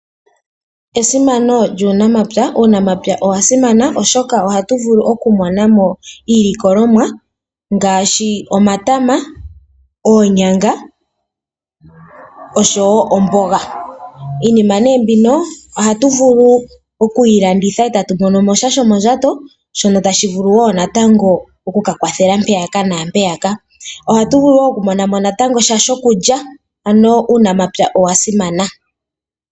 Esimano lyuunamapya. Uunamapya owa simana oshoka ohatu vulu okumona mo iilikolomwa ngaashi omatama, oonyanga, oshowo omboga. Iinima nee mbino, ohatu vulu okuyi landitha eta tu mono mo sha shomondjato, shono tashi vulu wo natango okukwathela mpeya nampeyaka. Ohatu vulu wo okumunamo sha shokulya, ano uunamapya owa simana.